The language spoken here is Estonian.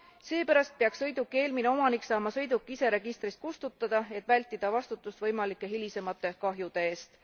Seepärast peaks sõiduki eelmine omanik saama sõiduki ise registrist kustutada, et vältida vastutust võimalike hilisemate kahjude eest.